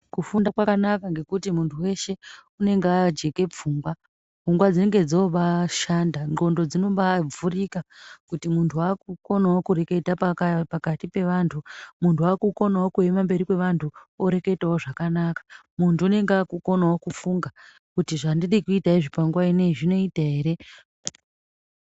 Kufunda kwakanaka ngekuti muntu weshe anenge ajeka pfungwa. Pfungwa dzinenge dzobashanda, ndxondo dzinenge dzanombavhurika kuti muntu wokonawo kureketa pakati peantu, muntu waakukonawo kuema pamberi paantu oreketawo zvakanaka , muntu unenge okonawo kufunga kuti zvandiri kuita panguwa ineyi zvinoita ere .